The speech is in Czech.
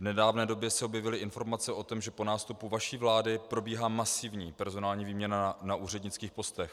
V nedávné době se objevily informace o tom, že po nástupu vaší vlády probíhá masivní personální výměna na úřednických postech.